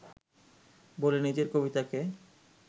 বলে নিজের কবিতাকে